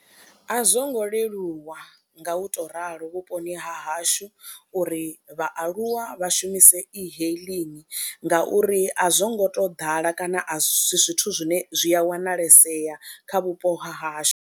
A zwo ngo leluwa nga u tou ralo vhuponi ha hashu uri vhaaluwa vha shumise e-hailing ngauri a zwo ngo tou ḓala, a si zwithu zwine zwi a wanalesea kha vhupo ha hashu.